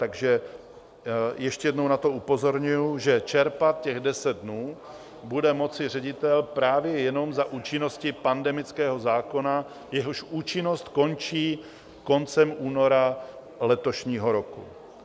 Takže ještě jednou na to upozorňuji, že čerpat těch deset dnů bude moci ředitel právě jenom za účinnosti pandemického zákona, jehož účinnost končí koncem února letošního roku.